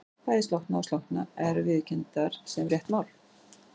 Bæði slokkna og slökkna eru viðurkenndar sem rétt mál.